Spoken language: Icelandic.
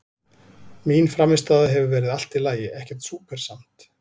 Mín frammistaða hefur verið allt í lagi, ekkert súper samt.